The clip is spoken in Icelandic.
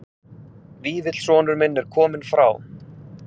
Vífill sonur minn er kominn frá